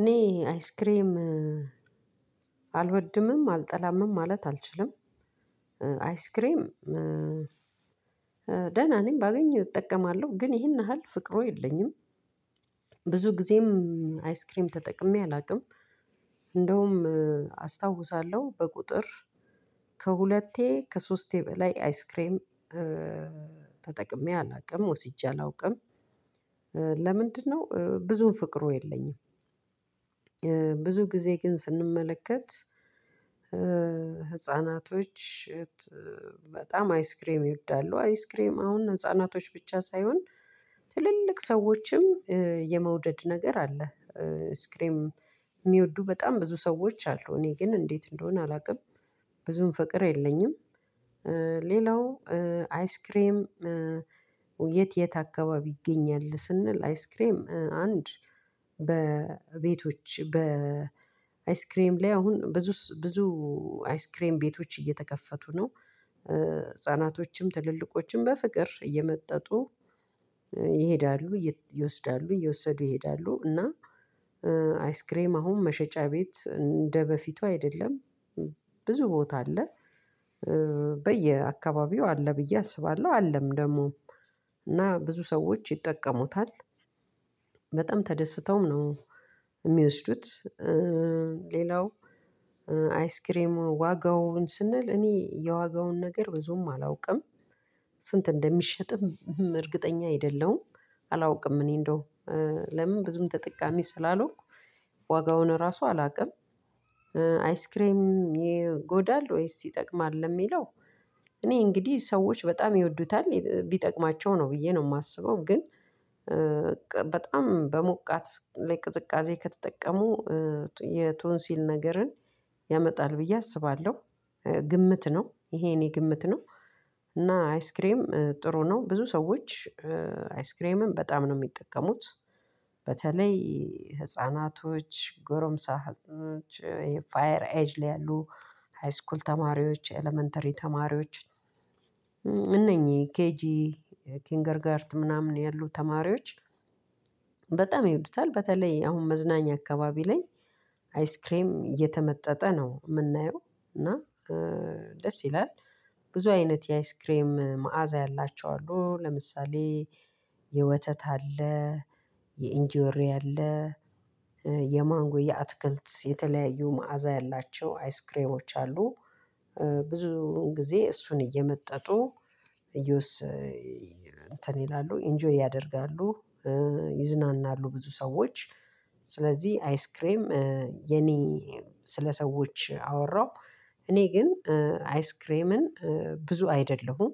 እኔ አይስክሬም አልወድምም አልጠላምም ማለት አልችልም አይስክሬም ደህና ነኝ ባገኝ እጠቀማለሁ ግን ይሄን ያህል ፍቅሩ የለኝም። ብዙ ጊዜም አይስክሪም ተጠቅሜ አላውቅም እንደውም አስታውሳለሁ በቁጥር ከሁለቴ ከሶስቴ በላይ አይስክሬም ተጠቅሜ አላውቅም ወስጄ አላውቅም። ለምንድነው ብዙም ፍቅሩ የለኝም? ብዙ ጊዜ ግን ስንመለከት። ህፃናቶች በጣም አይስክሬም ይወዳሉ። አይስክሬም አሁን ህፃናቶች ብቻ ሳይሆን ትልልቅ ሰው ሰዎችም የመውደድ ነገር አለ አይስክሬም የሚወዱ በጣም ብዙ ሰዎች አሉ። እኔ ግን እንዴት እንደሆነ አላውቅም ብዙም ፍቅር የለኝም። ሌላው አይስክሬም የት የት አካባቢ ይገኛል ስንል አይስክሬም አንድ በቤቶች በአይስክሬም ላይ አሁን ብዙ ብዙ አይስክሬም ቤቶች እየተከፈቱ ነው። ህፃናቶችም ትልልቆችም በፍቅር እየመጠጡ ይሄዳሉ ይወስዳሉ እየወሰዱ ይሄዳሉ። እና አይስክሬም አሁን መሸጫ ቤት እንደበፊቱ አይደለም። ብዙ ቦታ አለ በየአካባቢው አለ ብዬ አስባለሁ። አለም ደግሞ እና ብዙ ሰዎች ይጠቀሙታል። በጣም ተደስተውም ነው እሚወስዱት። ሌላው አይስክሬም ዋጋውን ስንል እኔ የዋጋውን ነገር ብዙም አላውቅም። ስንት እንደሚሸጥም እርግጠኛ አይደለሁም። አላውቅም እኔ እንደው ለምን ብዙም ተጠቃሚ ስላልሆንኩ ዋጋውን ራሱ አላቅም። አይስክሬም ይጎዳል ወይስ ይጠቅማል ለሚለው? እኔ እንግዲህ ሰዎች በጣም ይወዱታል ቢጠቅማቸው ነው ብዬ ነው የማስበው። ግን በጣም በሞቃት ላይ ቅዝቃዜ ከተጠቀሙ የቶንሲል ነገርን ያመጣል ብዬ አስባለሁ። ግምት ነው ይሄ የኔ ግምት ነው። እና አይስክሬም ጥሩ ነው ብዙ ሰዎች አይስክሬምን በጣም ነው እሚጠቀሙት። በተለይ ህፃናቶች ጎረምሳ ሀጥኖች ፋየር ኤጅ ላይ ያሉ ሃይስኩል ተማሪዎች ኤለመንተሪ ተማሪዎች። እነኚህ ኬጂ ኪንገርጋርት ምናምን ያሉ ተማሪዎች በጣም ይውዱታል። በተለይ አሁን መዝናኛ አካባቢ ላይ አይስክሬም እየተመጠጠ ነው እምናየው እና ደስ ይላል። ብዙ አይነት የአይስክሬም መዓዛ ያላቸው አሉ። ለምሳሌ የወተት አለ የኢንጆሪ አለ የማንጎ የ አትክልት የተለያዩ መዓዛ ያላቸው አይስክሬሞች አሉ። ብዙ ጊዜ እሱን እየመጠጡ እዮስ እንትን ይላሉ ኢንጆይ ያደርጋሉ። ይዝናናሉ ብዙ ሰዎች ስለዚህ አይስክሬም የኔ ስለሰዎች አወራሁ እኔ ግን አይስክሬምን ብዙ አይደለሁም።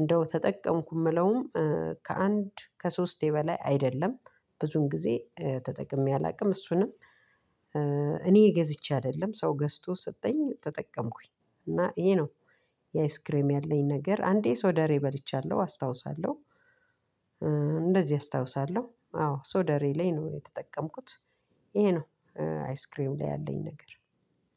እንደው ተጠቀምኩም እለውም ከአንድ ከሶስቴ በላይ አይደለም ብዙን ጊዜ ተጠቅሜ አላውቅም። እሱንም እኔ ገዝቼ አይደለም ሰው ገዝቶ ሰጠኝ ተጠቀምኩኝ እና ይሄ ነው። የአይስክሬም ያለኝ ነገር አንዴ ሶደሬ በልቻለሁ አስታውሳለሁ። እንደዚህ አስታውሳለሁ አዎ ሶደሬ ላይ ነው የተጠቀምኩት። ይሄ ነው አይስክሬም ላይ ያለኝ ነገር።